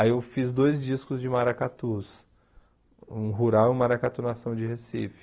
Aí eu fiz dois discos de maracatus, um rural e um maracatu nação de Recife.